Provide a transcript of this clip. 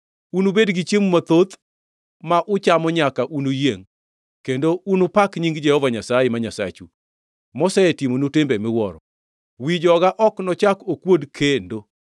Unubed gi chiemo mathoth, ma uchamo nyaka unuyiengʼ, kendo unupak nying Jehova Nyasaye, ma Nyasachu, mosetimonu timbe miwuoro. Wi joga ok nochak okuod kendo.